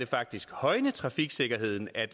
faktisk kan højne trafiksikkerheden at